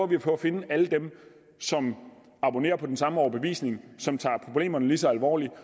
vi på at finde alle dem som abonnerer på den samme overbevisning som tager problemerne lige så alvorligt